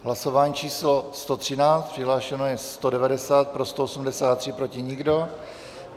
Hlasování číslo 113, přihlášeno je 190, pro 183, proti nikdo.